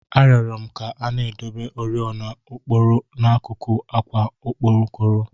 A rioro m ka a na-edebe oriọna okpokoro n'akụkụ àkwà okpokoro